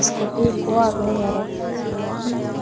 ikkuti ikko agey aro sideondi ubanot he.